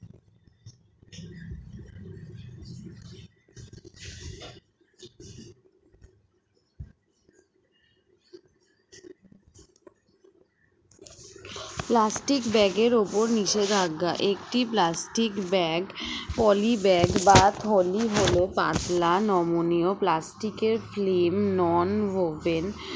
plastic bag উপর নিষেধাজ্ঞা একটি plastic bag poly bag বা থলি হল পাতলা নমনীয় plastic এর film non oven